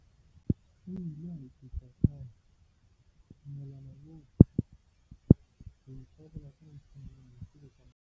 O ile a eketsa ka hore, "Ke dumela hore ho ipabola ka ntho e le nngwe ke bokamoso ba dikholetjhe."